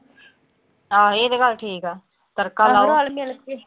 ਆਹੋ ਇਹ ਤਾਂ ਗੱਲ ਠੀਕ ਆ। ਤੜਕਾ ਲਾਓ।